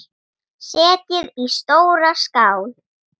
Setjið í stóra skál.